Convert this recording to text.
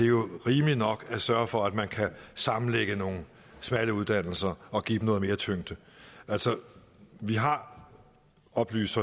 jo rimeligt nok at sørge for at man kan sammenlægge nogle smalle uddannelser og give dem noget mere tyngde vi har oplyses